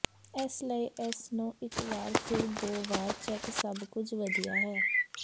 ਇਸ ਲਈ ਇਸ ਨੂੰ ਇਕ ਵਾਰ ਫਿਰ ਦੋ ਵਾਰ ਚੈੱਕ ਸਭ ਕੁਝ ਵਧੀਆ ਹੈ